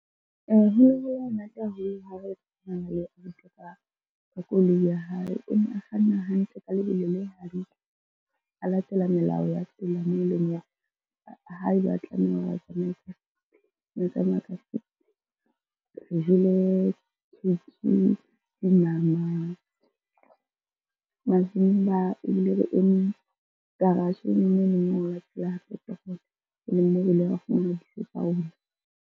Ho ne ho le monate ha ne re ka koloi ya hae. O ne a kganna hantle ka lebelo le hantle, a latela melao ya tsela, moo e leng hore ha eba a tlameha hore a tsamaye ka fifty o na tsamaya ka fifty. Re jele , dinama, mazimba ebile re eme garage-eng e leng .